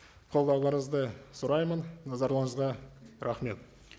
қолдауларыңызды сұраймын назарларыңызға рахмет